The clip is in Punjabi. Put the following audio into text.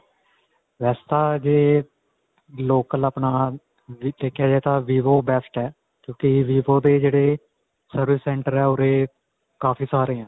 ਵੈਸੇ ਤਾਂ ਜੇ local ਆਪਣਾ ਦੇਖਿਆ ਜਾਵੇ ਤਾਂ vivo best ਹੈ, ਕਿਉਂਕਿ vivo ਦੇ ਜਿਹੜੇ service center ਹੈ ਉਰੇ ਕਾਫੀ ਸਾਰੇ ਹੈ.